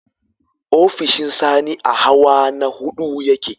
Ofishin Sani a hawa na huɗu ya ke.